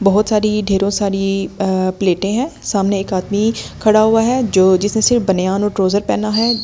बहुत सारी ढेरों सारी प्लेटें हैं सामने एक आदमी खड़ा हुआ है जो जिसने सिर्फ बनियान और ट्राउजर पहना है।